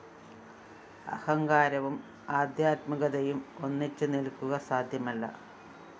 അഹങ്കാരവും ആദ്ധ്യാത്മികതയും ഒന്നിച്ച് നില്‍ക്കുക സാദ്ധ്യമല്ല